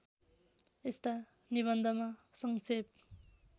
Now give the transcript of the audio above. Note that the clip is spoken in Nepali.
यस्ता निबन्धमा सङ्क्षेप